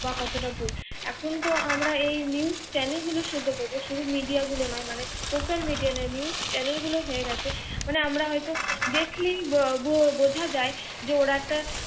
বা কত টা ভুল। যেকোন তো আমরা এই NEWSCHANNEL গুলো সহ্য করবো শুধু MIDEA নয় মানে SOCIALMIDEA নয় NEWSCHANNEL গুলো হয়ে গেছে মানে আমরা হয়ত দেখলে ব বুঝা যায় যে ওরা একটা